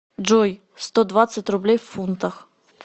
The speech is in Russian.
джой сто двадцать рублей в фунтах